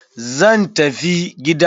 Zan tafi gida.